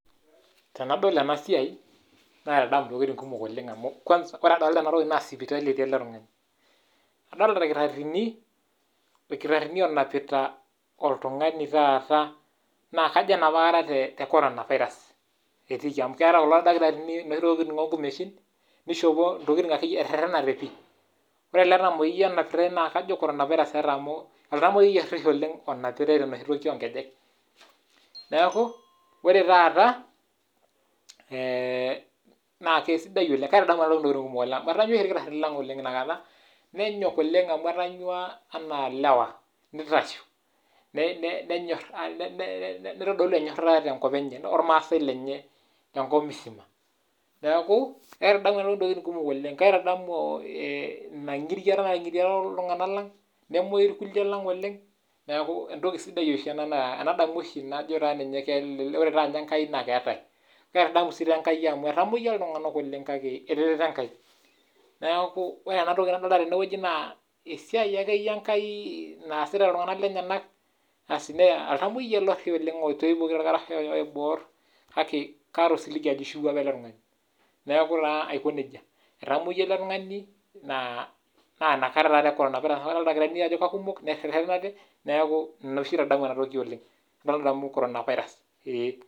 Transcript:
Tenadol ena siai naitadamu ntokitin kumok oleng' amu kwanza kore adolta enatoki naa sipitali eti ele tung'ani. Adolta irkitarr'ini ilkitarr'rini oonapita oltung'ani taata naa kajo enapa kata te corona virus etiiki amu keeta kulo dakitarini inoshi tokitin o nkumeshin nishopo ntokitin akeyie etererenate pii. Kore ele tamoyiai onapitai kajo corona virus eeta amu oltamyueyiai orish oleng' onapitai tenoshi toki o nkejek. Neeku ore taata ee naa kesidai oleng' naa kaitadamu eno toki ntokitin kumok oleng' amu etanyua irkitarr'rini lang' ina kata , nenyok oleng' amu etanyua enaa ilewa, nitasho ne ne nenyor ne nitodolu enyorata te nkop enye ormaasai lenye tenkop musima. Neeku aitadamu ena toki ntokitin kumok oleng', kaitadamu ina ng'iriata nating'iria iltung'anak lang' nemuoyu irkuliek oleng' neeku entoki sidai oshi ena naa enadamu oshi najo taa ninye um kore taa enkai naake eetai. Kaitadamu sii tee enkai amu etamoyia iltung'anak oleng' kake etereto enkai. Neeku ore enatoki nadolta tene wuei naa esiai ake yie enkai naasita iltung'anak lenyenak asi naa oltamueyiai ele ori oleng' oitoipoki torkarash oibor kake kaata osiligi ajo ishiiwuo apa ele tung'ani. Neeku taa aiko neija. Etamoyia ele tung'ani naa naa inakata taapa e corona virus amu adolta ildakitarini ajo kakumok nee nerishakino ade neeku ina oshi aitadamuina toki oleng' nadamu corona virus ee.